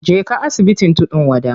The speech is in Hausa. Je ka asibitin tudun wada.